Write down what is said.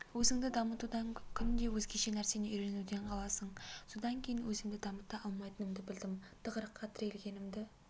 өзіңді дамытудан күнде өзгеше нәрсені үйренуден қаласың содан кейін өзімді дамыта алмайтынымды білдім тығырыққа тірелгенімді